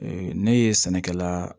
ne ye sɛnɛkɛla